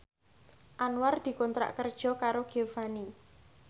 Anwar dikontrak kerja karo Giovanni